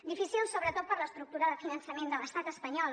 difícil sobretot per l’estructura de finançament de l’estat espanyol